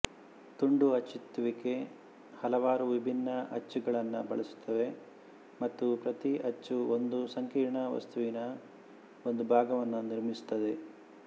ತುಂಡು ಅಚ್ಚೊತ್ತುವಿಕೆ ಹಲವಾರು ವಿಭಿನ್ನ ಅಚ್ಚುಗಳನ್ನು ಬಳಸುತ್ತದೆ ಮತ್ತು ಪ್ರತಿ ಅಚ್ಚು ಒಂದು ಸಂಕೀರ್ಣ ವಸ್ತುವಿನ ಒಂದು ಭಾಗವನ್ನು ನಿರ್ಮಿಸುತ್ತದೆ